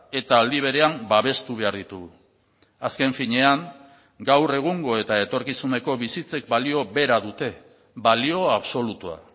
eta aldi berean babestu behar ditugu azken finean gaur egungo eta etorkizuneko bizitzek balio bera dute balio absolutua